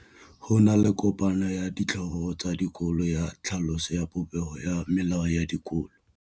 Go na le kopanô ya ditlhogo tsa dikolo ya tlhaloso ya popêgô ya melao ya dikolo.